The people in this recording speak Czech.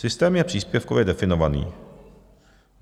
Systém je příspěvkově definovaný.